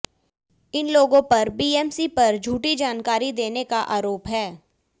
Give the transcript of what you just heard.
इन लोगों पर बीएमसी पर झूठी जानकारी देने का आरोप है